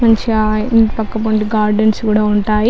మంచిగా ఇంటి పక్క మనకి గార్డెన్స్ కూడా ఉంటాయి.